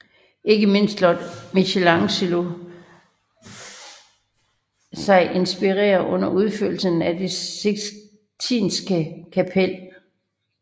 Ikke mindst lod Michelangelo sig inspirere under udførelsen af det Sixtinske Kapel